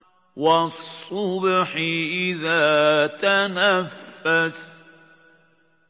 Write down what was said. وَالصُّبْحِ إِذَا تَنَفَّسَ